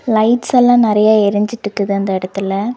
Lights எல்லா நறையா எறிஞ்சிற்றுக்குது அந்த எடத்துல.